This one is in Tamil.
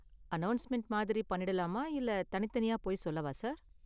அநௌஸ்மெண்ட் மாதிரி பண்ணிடலாமா இல்ல தனித்தனியா போய் சொல்லவா சார்.